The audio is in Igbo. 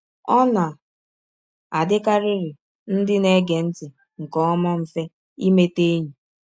Ọ na - adịkarịrị ndị na -- ege ntị nke ọma mfe imeta enyi.